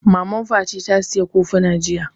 Maman Fati ta saya kofuna jiya